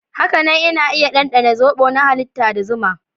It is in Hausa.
Hakanan ana iya ɗanɗana zobo na halitta da zuma.